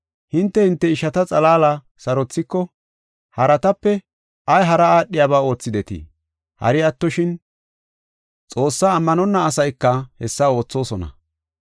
Hinte, hinte ishata xalaala sarothiko, haratape ay hara aadhiyaba oothidetii? Hari attoshin, Xoossaa ammanonna asayka hessa oothosona.